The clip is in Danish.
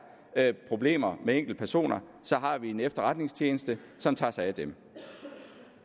problemer med enkeltpersoner har vi en efterretningstjeneste som tager sig af dem